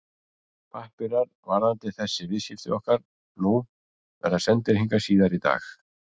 Pappírar varðandi þessi viðskipti okkar nú verða sendir hingað síðar í dag.